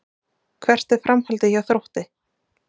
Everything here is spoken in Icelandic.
Hvert er framhaldið hjá Þrótti?